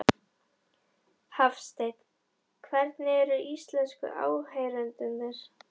Hafsteinn: Hvernig eru íslensku áheyrendurnir?